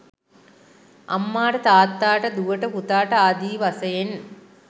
අම්මාට තාත්තාට දුවට පුතාට ආදී වශයෙන්